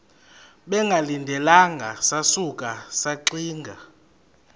bengalindelanga sasuka saxinga